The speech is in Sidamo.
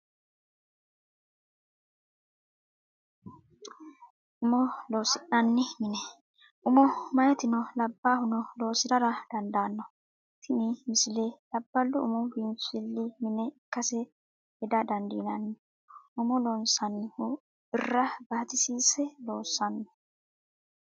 Umo loosi'nani mine, umo meyatino labaahunno loosirara dandanno, tnini misile labalu umu biinfilli mine ikkase heda dandinanni, umo loosanohu birra baatisise loosano